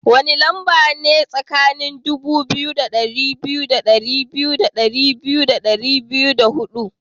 Wani lamba ne tsakanin dubu biyu da dari biyu da biyu da dubu biyu da dari biyu da hudu?